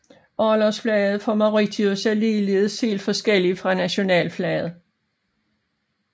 Orlogsflaget for Mauritius er ligeledes helt forskellig fra nationalflaget